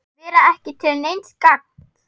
Vera ekki til neins gagns.